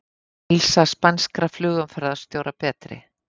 Heilsa spænskra flugumferðarstjóra betri